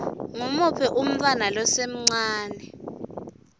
ngumuphi umntfwana losemncane